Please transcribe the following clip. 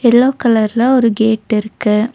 Yellow கலர்ல ஒரு gate இருக்கு.